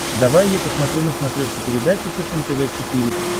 давай я посмотрю на смотрешке передачу фэшен тв четыре к